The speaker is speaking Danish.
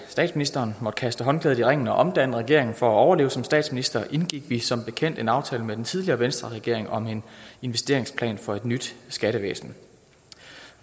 statsministeren måtte kaste håndklædet i ringen og omdanne regeringen for at overleve som statsminister indgik vi som bekendt en aftale med den tidligere venstreregering om en investeringsplan for et nyt skattevæsen